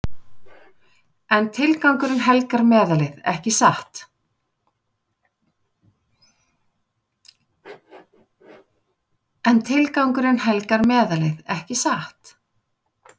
En tilgangurinn helgar meðalið, ekki satt?